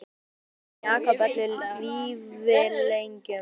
Og loks hætti Jakob öllum vífilengjum.